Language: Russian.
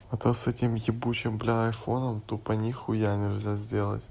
а то с этими ебучим бля айфоном тупо нихуя нельзя сделать